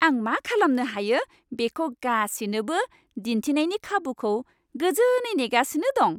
आं मा खालामनो हायो बेखौ गासिनोबो दिन्थिनायनि खाबुखौ गोजोनै नेगासिनो दं।